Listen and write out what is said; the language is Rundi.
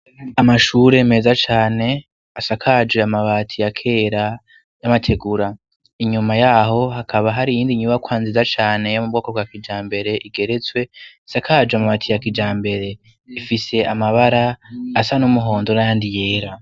Amashure meza cane, asakaje amabati ya kera, y'amategura. Inyuma ya ho hakaba hari iyindi nyubakwa nziza cane yo mu bwoko bwa kijambere igeretswe, isakaje amabati ya kijambere. Ifise amabara asa n'umuhondo n'ayandi yera.